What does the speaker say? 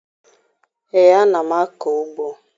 Ee, ana m akọ ugbo